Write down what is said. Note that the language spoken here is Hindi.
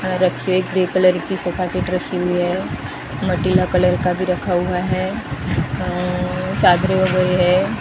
वहां रखे ग्रे कलर की सोफा सेट रखी हुई है माटिला कलर का भी रखा हुआ है अह चादरें वगैरह है।